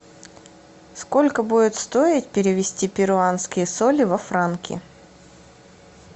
сколько будет стоить перевести перуанские соли во франки